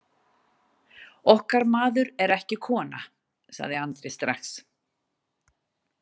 Okkar maður er ekki kona, sagði Andri strax.